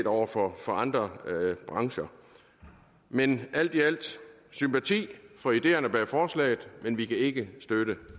over for andre brancher men alt i alt sympati for ideerne bag forslaget men vi kan ikke støtte